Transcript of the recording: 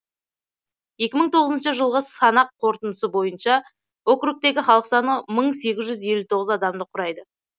екі мың тоғызыншы жылғы санақ қорытындысы бойынша округтегі халық саны мың сегіз жүз елу тоғыз адамды құрайды